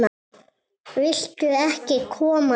Viltu ekki koma inn?